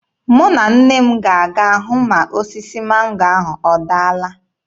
Mụ na nne m ga-aga hụ ma osisi mango ahụ ọdaala.